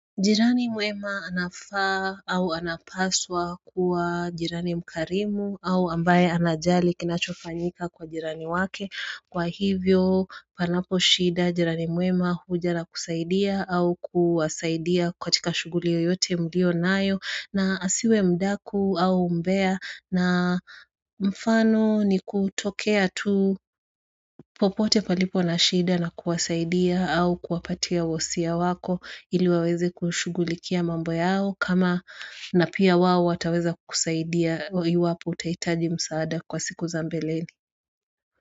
Jirani mwema anafaa au anapaswa kuwa jirani mkarimu au ambaye anajali kinachofanyika kwa jirani wake kwa hivyo panapo shida jirani muema huja na kusaidia au kuwasaidia katika shugulio yote mlio nayo na asiwe mdaku au mbea na mfano ni kutokea tu popote palipo na shida na kuwasaidia au kuwapatia wasia wako ili waweze kushugulikia mambo yao kama na pia wao wataweza kusaidia iwapo utaitaji msaada kwa siku zambeleli.